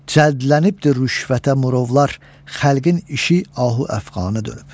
Cəldlənibdir rüşvətə murovlar, xəlqin işi ahu əfqana dönüb.